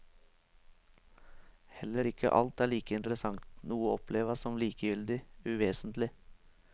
Heller ikke alt er like interessant, noe oppleves som likegyldig, uvesentlig.